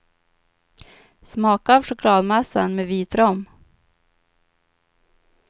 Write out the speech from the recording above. Smaka av chokladmassan med vit rom.